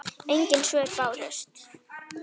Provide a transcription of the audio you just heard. Engin svör bárust.